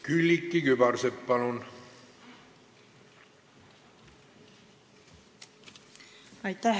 Külliki Kübarsepp, palun!